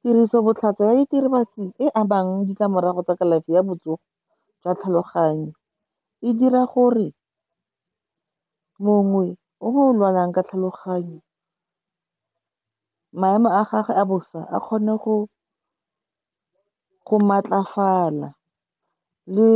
Tirisobotlhaswa ya e ditlamorago tsa kalafi ya botsogo jwa tlhaloganyo, e dira gore mongwe o lwalang ka tlhaloganyo, maemo a gagwe a bosa a kgone go matlafala, le